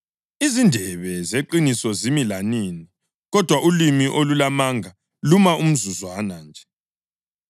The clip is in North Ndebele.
Izindebe zeqiniso zimi lanini, kodwa ulimi olulamanga luma umzuzwana nje.